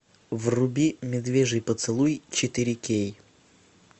вруби медвежий поцелуй четыре кей